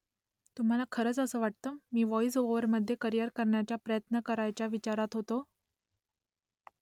तुम्हाला खरंच असं वाटतं मी व्हॉईस ओव्हरमध्ये करियर करण्याचा प्रयत्न करायच्या विचारात होतो ?